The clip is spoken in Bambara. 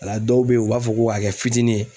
A la dɔw be yen u b'a fɔ ko a kɛ fitiinin ye.